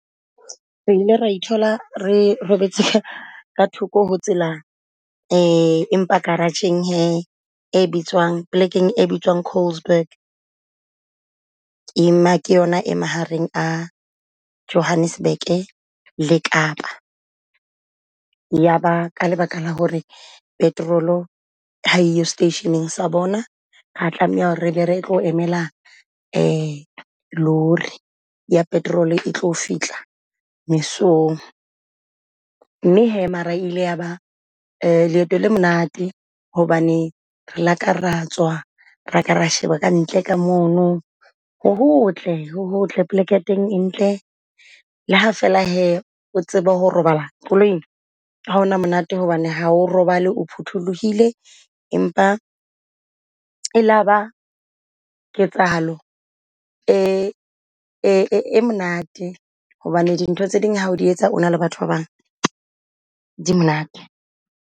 Re ile re ithola re robetse ka thoko ho tsela , empa garage-eng he e bitswang polekeng e bitswang Colesburg. Ema ke yona e mahareng a Johannesburg le Kapa yaba ka lebaka la hore petrol ha eyo station-eng sa bona. Ra tlameha hore re ba re tlo emela lori ya petrol e tlo fihla mesong. Mme hee mara ile yaba leeto le monate hobane re laka ra tswa re ka ra sheba ka ntle ka mono ho hotle ho hotle poleke ya teng e ntle. Le ha fela hee o tsebe ho robala koloing ha hona monate hobane ha o robale o photholohile. Empa e laba ketsahalo e e monate hobane dintho tse ding ha di etsa ona le batho ba bang di monate.